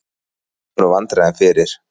Næg voru vandræðin fyrir.